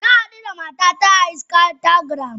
Nahadu da matata a instagram.